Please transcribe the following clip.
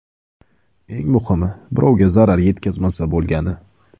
Eng muhimi, birovga zarar yetkazmasa bo‘lgani.